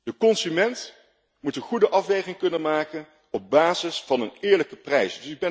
De consument moet een goede afweging kunnen maken op basis van een eerlijke prijs.